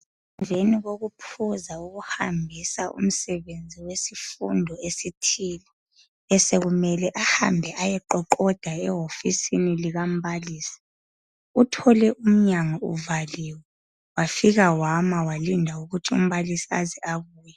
Emveni kokuphuza ukuhambisa umsebenzi wesifundo esithile , besekumele ahambe ayeqoqoda ehofisini likambalisi uthole umnyango uvaliwe wafika wama walinda ukuthi umbalisi aze abuye.